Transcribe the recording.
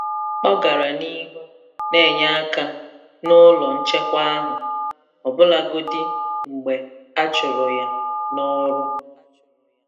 Ọ gara n'ihu na-enye aka n'ụlọ nchekwa ahụ, ọbụlagodi mgbe a chụrụ ya n'ọrụ.